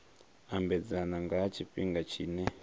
ambedzana nga ha tshifhinga tshine